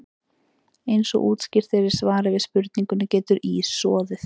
Eins og útskýrt er í svari við spurningunni Getur ís soðið?